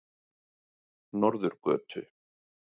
Norðurgötu